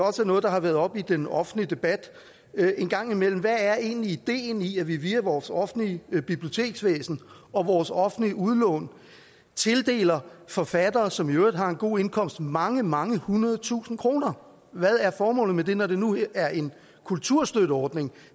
noget der har været oppe i den offentlige debat en gang imellem hvad er egentlig ideen i at vi via vores offentlige biblioteksvæsen og vores offentlige udlån tildeler forfattere som i øvrigt har en god indkomst mange mange hundrede tusinde kroner hvad er formålet med det når det nu er en kulturstøtteordning